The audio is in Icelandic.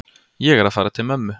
Ég er að fara til mömmu.